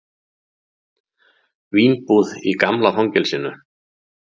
Vínbúð í gamla fangelsinu